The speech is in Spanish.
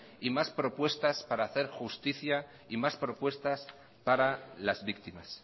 y más propuestas para hacer justicia y más propuestas para las víctimas